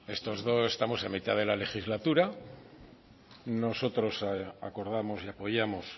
estamos en mitad de la legislatura nosotros acordamos y apoyamos